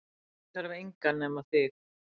Ég þarf engan nema þig